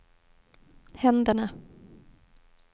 händerna